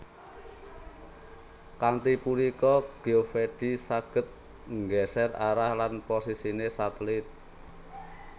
Kanthi punika Geovedi saged nggeser arah lan posisine satelit